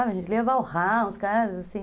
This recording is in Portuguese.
assim.